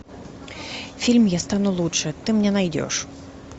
фильм я стану лучше ты мне найдешь